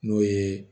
N'o ye